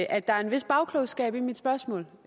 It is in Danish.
at der er en vis bagklogskab i mit spørgsmål